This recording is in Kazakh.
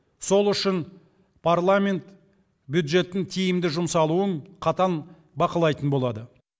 сол үшін парламент бюджеттің тиімді жұмсалуын қатаң бақылайтын болады